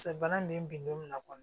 bana nin be bin don min na kɔni